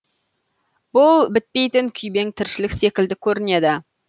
бұл бітпейтін күйбең тіршілік секілді көрінеді